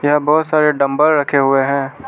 यहां बहुत सारे डम्बल रखे हुए हैं।